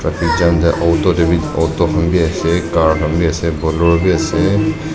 te auto khanbi ase car khanbi ase bolero bi ase.